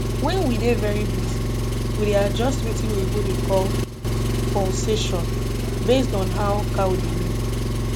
wen we dey very busy we dey adjust wetin oyibo dey call pulsation based on how cow dey milk